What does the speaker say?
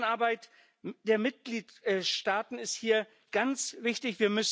Zusammenarbeit der Mitgliedstaaten ist hier ganz wichtig.